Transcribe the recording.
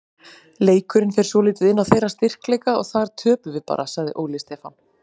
Leikurinn fer svolítið inn á þeirra styrkleika og þar töpum við bara, sagði Óli Stefán.